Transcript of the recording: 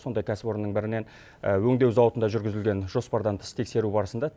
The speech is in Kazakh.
сондай кәсіпорынның бірінен өңдеу зауытында жүргізілген жоспардан тыс тексеру барысында